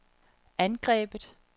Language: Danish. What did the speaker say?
angrebet